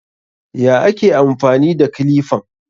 Ya ake amfani da kilifan?